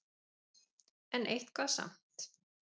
En eitthvað samt.